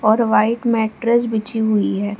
और white mattress बिछी हुई है।